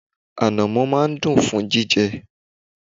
Ànàmọ́ máa n dun fún jíjẹ